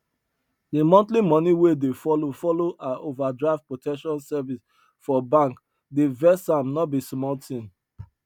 the monthly money wey dey follow follow her overdraft protection service for bank dey vex am no be small thing